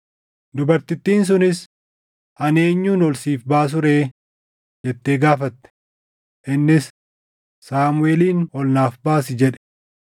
Dubartittiin sunis, “Ani eenyun ol siif baasu ree?” jettee gaafatte. Innis, “Saamuʼeelin ol naaf baasi” jedhe.